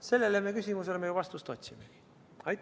Sellele küsimusele me vastust otsimegi.